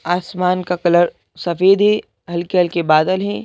आसमान का कलर सफेद है हल्के हल्के बादल है।